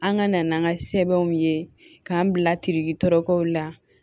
An ka na n'an ka sɛbɛnw ye k'an bila tɔɔrɔkɔw la